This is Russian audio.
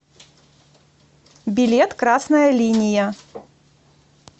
билет красная линия